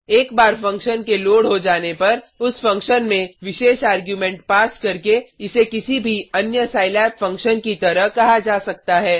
एक बार फंक्शन के लोड हो जाने पर उस फंक्शन में विशेष आर्ग्युमेंट पास करके इसे किसी भी अन्य सिलाब फंक्शन की तरह कहा जा सकता है